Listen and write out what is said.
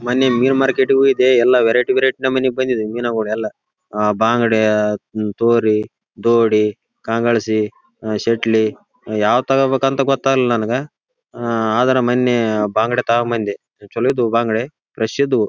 ಮನ್ನೆ ಮೀನ್ ಮಾರ್ಕೆಟ ಈಗೆ ಹೋಗಿದ್ದೆ ಎಲ್ಲ ವೆರೈಟಿ ವೆರೈಟಿ ನಮುನೆ ಬಂದಿವೆ ಮೀನುಗಳು ಎಲ್ಲ. ಅಹ್ ಬಂಗ್ಡೆ ತೋರಿ ದೋಡಿ ಕಂಗಳ್ಸಿ ಅಹ್ ಚಟ್ಲಿ ಯಾವ್ದ್ ತಗೋ ಬೇಕು ಅಂತ ಗೊತ್ತಾಗ್ಲಿಲ್ಲ ನನಗ. ಅಹ್ ಆದ್ರ ಮನ್ನೆ ಬಂಗ್ಡೆ ತಕೋ ಬಂದೆ ಚಲೋ ಇದ್ದೋ ಬಂಗ್ಡೆ ಫ್ರೆಶ್ ಇದ್ವು.